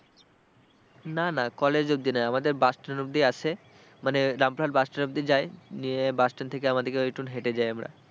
না না college অবধি না আমাদের bus stand অবধি আসে মানে রামপুরহাট bus stand অবধি যায় গিয়ে bus stand থেকে আমাদেরকে ঐটুকু হেঁটে যাই আমরা।